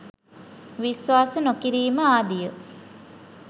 විශ්වාස නොකිරීම ආදිය